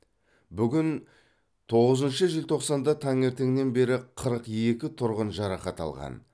бүгін тоғызыншы желтоқсанда таңертеңнен бері қырық екі тұрғын жарақат алған